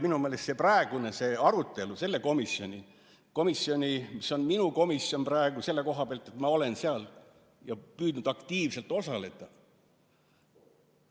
Minu meelest praegune arutelu selle komisjoni üle – see komisjon on minu komisjon praegu selle koha pealt, et ma olen seal püüdnud aktiivselt osaleda – peaks käima sisu üle.